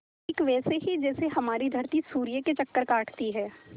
ठीक वैसे ही जैसे हमारी धरती सूर्य के चक्कर काटती है